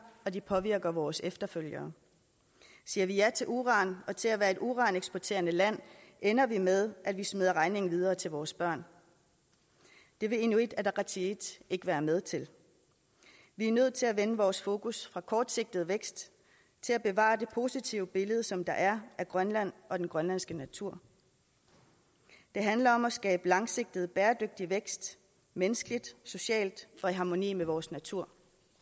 det påvirker vores efterfølgere siger vi ja til uran og til at være et uraneksporterende land ender det med at vi smider regningen videre til vores børn det vil inuit ataqatigiit ikke være med til vi er nødt til at vende vores fokus fra kortsigtet vækst til at bevare det positive billede som der er af grønland og den grønlandske natur det handler om at skabe langsigtet bæredygtig vækst menneskeligt socialt og i harmoni med vores natur